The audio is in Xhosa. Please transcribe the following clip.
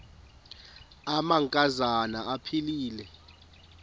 amanka zana aphilele